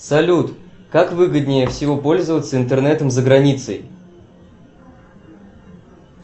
салют как выгоднее всего пользоваться интернетом за границей